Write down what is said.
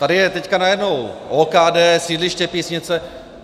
Tady je teď najednou OKD, sídliště Písnice...